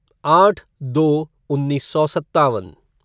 आट दो उन्नीस सौ सत्तावन